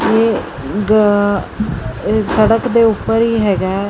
ਇਹ ਸੜਕ ਦੇ ਉੱਪਰ ਹੀ ਹੈਗਾ।